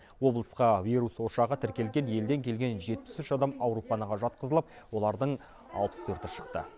облысқа вирус ошағы тіркелген елден келген жетпіс үш адам ауруханаға жатқызылып олардың алпыс төрті шықты